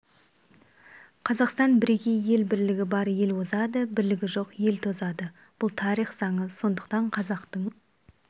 қазақстан бірегей ел бірлігі бар ел озады бірлігі жоқ ел тозады бұл тарих заңы сондықтан қазақтың